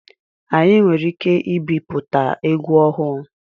Anyị nwere ike ibipụta egwu ọhụụ.